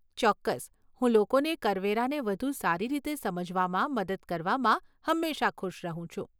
ચોક્કસ, હું લોકોને કરવેરાને વધુ સારી રીતે સમજવામાં મદદ કરવામાં હંમેશા ખુશ રહું છું.